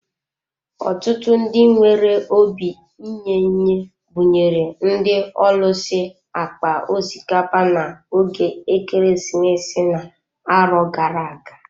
Ọtụtụ ndị nwere obi inye-enye buṅyere ndị ọlusi akpa osikapa na ógè ekeresimesi na-arọ gara-aga.